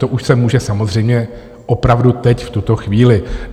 To už se může samozřejmě opravdu teď v tuto chvíli.